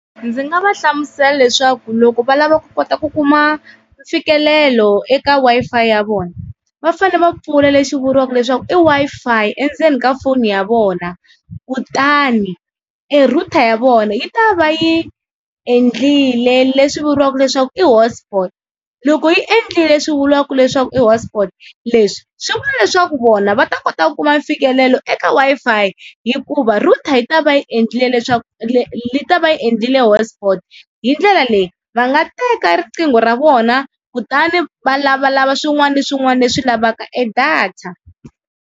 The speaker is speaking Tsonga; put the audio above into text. Ndzi nga va hlamusela leswaku loko va lava ku kota ku kuma mfikelelo eka Wi-Fi ya vona, va fane va pfula lexi vuriwaka leswaku i Wi-Fi endzeni ka foni ya vona kutani e-router ya vona yi ta va yi endlile leswi vuriwaka leswaku i hotspot, loko yi endlile leswi vuriwaka leswaku i hotsport, leswi swi vula leswaku vona va ta kota ku kuma mfikelelo eka Wi-Fi hikuva router yi ta va yi endlile leswaku yi ta va yi endlile hotsport, hi ndlela leyi va nga teka riqingho ra vona kutani va lavalava swin'wana na swin'wana leswi lavaka e-data.